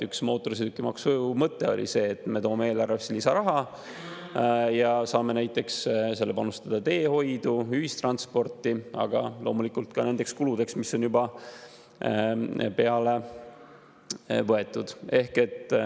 Üks mootorsõidukimaksu mõte oli ju see, et me toome eelarvesse lisaraha ja saame selle panustada näiteks teehoidu, ühistransporti, aga loomulikult ka nendeks kuludeks, mis on juba peale võetud.